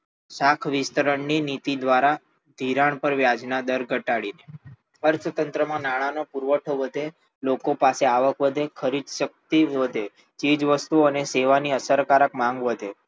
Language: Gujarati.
શાખ વિસ્તરણની નીતિ દ્વારા ધિરાણ પરના વ્યાજના દર ઘટાડીને અર્થતંત્રમાં નાણાંનો પુરવઠો વધે લોકો પાસે આવક વધે ખરીદશક્તિ વધે ચીજવસ્તુઓ અને સેવાની અસરકારક માંગ વધે